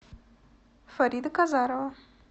фарида казарова